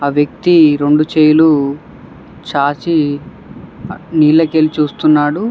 వ్యక్తి రెండు చెయ్లు చాచి నీళ్ల కెళ్లి చూస్తున్నాడు.